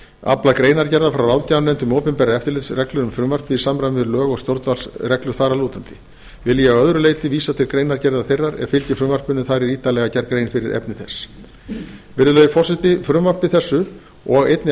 aflað greinargerðar frá ráðgjafarnefnd um opinberar eftirlitsreglur um frumvarpið í samræmi við lög og stjórnvaldsreglur þar að lútandi vil ég að öðru leyti vísa til greinargerðar þeirrar er fylgir frumvarpinu en þar er ítarlega gerð grein fyrir efni þess virðulegi forseti frumvarpi þessu og einnig